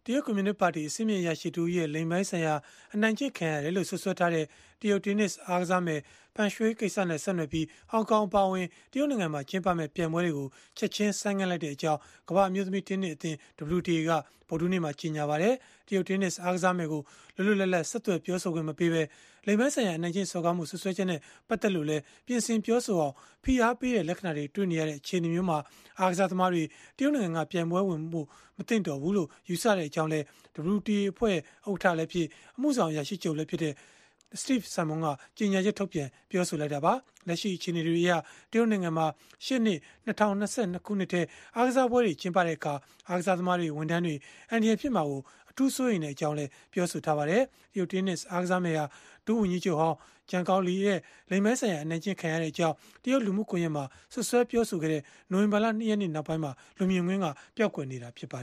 တရုတ်ကွန်မြူနစ်ပါတီ အဆင့်မြင့် အရာရှိတဦးရဲ့ လိင်ပိုင်းဆိုင်ရာ အနိုင်ကျင့်ခံရတယ်လို့ စွပ်စွဲထားတဲ့ တရုတ်တင်းနစ် အားကစားမယ် Peng Shuai ကိစ္စနဲ့ ဆက်နွယ်ပြီး၊ ဟောင်ကောင် အပါအဝင် တရုတ်နိုင်ငံမှာ ကျင်းပမယ့် ပြိုင်ပွဲတွေကို ချက်ခြင်း ဆိုင်းငံ့လိုက်ကြောင်း ကမ္ဘာ့အမျိုးသမီး တင်းနစ်အသင်း (WTA) က ဗုဒ္ဓဟူးနေ့မှာ ကြေညာလိုက်ပါတယ်။ တရုတ်တင်းနစ် အားကစားမယ်ကို လွတ်လွတ်လပ်လပ် ဆက်သွယ် ပြောဆိုခွင့်မပေးဘဲ လိင်ပိုင်းဆိုင်ရာ အနိုင်ကျင့် စော်ကားမှု စွပ်စွဲချက်နဲ့ ပတ်သက်လို့လည်း ပြင်ဆင်ပြောဆိုအောင် ဖိအားပေးတဲ့ လက္ခဏာတွေ တွေ့နေရတဲ့ အခြေအနေမျိုးမှာ အားကစားသမားတွေ တရုတ်နိုင်ငံမှာ ပြိုင်ပွဲဝင်ဖို့ မသင့်တော်ဘူးလို့ ယူဆကြောင်းလည်း WTA အဖွဲ့ ဥက္ကဋ္ဌလည်းဖြစ်၊ အမှုဆောင် အရာရှိချုပ်လည်းဖြစ်တဲ့ Steve Simon က ကြေညာချက်ထုတ်ပြန် ပြောဆိုခဲ့တာပါ။ လက်ရှိ အခြေအနေတွေအရ တရုတ်နိုင်ငံမှာ ရှေ့နှစ် ၂၀၂၂ ခုနှစ်ထဲ အားကစားပွဲတွေ ကျင်းပတဲ့အခါ အားကစားသမားတွေ၊ ဝန်ထမ်းတွေ အန္တရာယ်ဖြစ်မှာ အထူးစိုးရိမ်ကြောင်းလည်း ပြောဆိုထားပါတယ်။ တရုတ်တင်းနစ် အားကစားမယ်ဟာ ဒုဝန်ကြီးချုပ်ဟောင်း Zhang Gaoli ရဲ့ လိင်ပိုင်းဆိုင်ရာ အနိုင်ကျင့် ခံရကြောင်း တရုတ်လူမှုကွန်ရက်မှာ စွပ်စွဲပြောဆိုခဲ့တဲ့ နိုဝင်ဘာလ ၂ ရက်နေ့ ကတည်းက လူမြင်ကွင်းက ပျောက်ကွယ်နေတာပါ